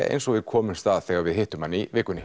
eins og við komumst að þegar við hittum hann í vikunni